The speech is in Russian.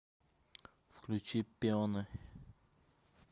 включи пионы